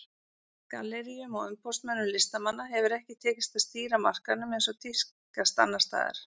Galleríum og umboðsmönnum listamanna hefur ekki tekist að stýra markaðnum eins og tíðkast annars staðar.